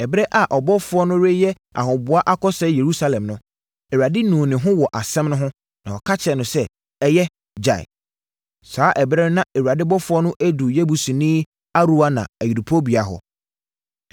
Ɛberɛ a ɔbɔfoɔ no reyɛ ahoboa akɔsɛe Yerusalem no, Awurade nuu ne ho wɔ asɛm no ho, na ɔka kyerɛɛ no sɛ, “Ɛyɛ! Gyae.” Saa ɛberɛ no na Awurade ɔbɔfoɔ no aduru Yebusini Arauna ayuporobea hɔ.